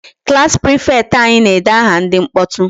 Class prefect anyị na-ede aha ndị mkpọtụ.